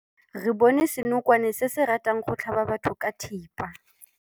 Re bone senokwane se se ratang go tlhaba batho ka thipa.